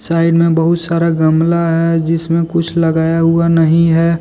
Side में बहुत सारा गमला है जिसमें कुछ लगाया हुआ नहीं है।